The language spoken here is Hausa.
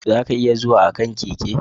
Za ka iya zuwa a kan keke.